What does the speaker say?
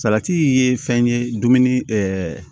Salati ye fɛn ye dumuni